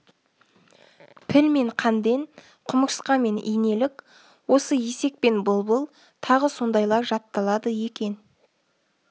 піл мен қанден құмырсқа мен инелік осы есек пен бұлбұл тағы сондайлар жатталады екен